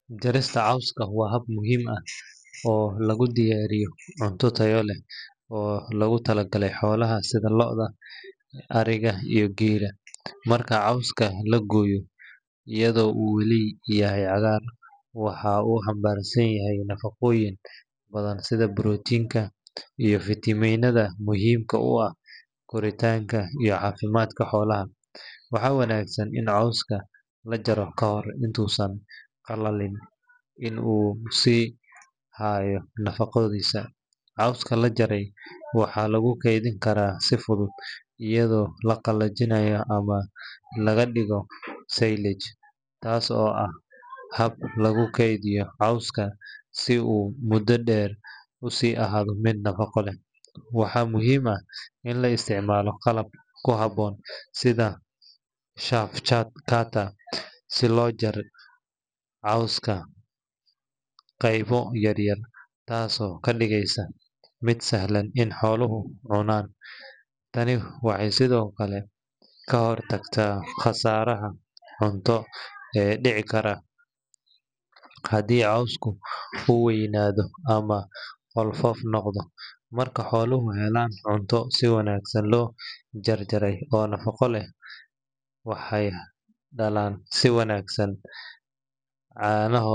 Maraq digaag waa cunto aad u macaan oo nafaqo leh, isla markaana si weyn looga isticmaalo guryaha Soomaaliyeed. Waxaa laga sameeyaa hilib digaag cusub, biyo nadiif ah, basbaas, basal, yaanyo, iyo xawaash kale oo kala duwan sida garlic, ginger, iyo curry powder. Marka hilibka digaagu si fiican loo kariyo, wuxuu maraqu noqonayaa mid hodan ku ah borotiin, fiitamiino, iyo macdano muhiim u ah jirka bini’aadamka. Waxaa la sheegaa in cunista maraq digaag ay ka caawiso jirka in uu iska difaaco hargabka iyo durayga, gaar ahaan xilliyada qaboobaha ama marka qofku xanuunsan yahay. Maraq digaag waxa uu muhiim u yahay carruurta, dadka waayeelka ah, iyo haweenka uurka leh, maadaama uu si fudud u dheefshiin karo, isla markaana uu kor u qaado difaaca jirka. Si loo diyaariyo maraq digaag wanaagsan, waxaa muhiim ah in digaagga la kariyo muddo ku dhow labaatan ilaa sodon daqiiqo.